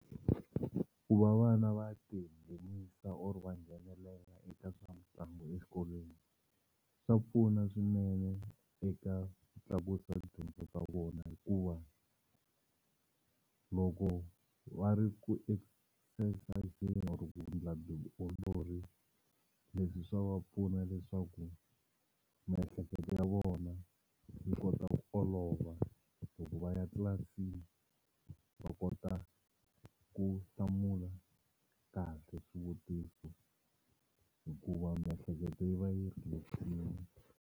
Ku va vana va tinghenisa or-o va nghenelela eka swa mitlangu exikolweni swa pfuna swinene eka ku tlakusa tidyondzo ta vona hikuva loko va ri ku or ku ndla vutiolori leswi swa va pfuna leswaku miehleketo ya vona yi kota ku olova loko va ya tlilasini va kota ku hlamula kahle swivutiso hikuva miehleketo yi va yi relax-ini.